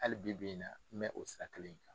Hali bi bi in na n bɛ o sira kelen in kan.